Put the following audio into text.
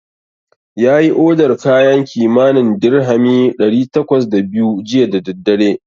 Yayi odar kayan kimanin dirhami ɗari takwas da biyu jiya da daddare.